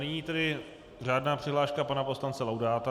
Nyní tedy řádná přihláška pana poslance Laudáta.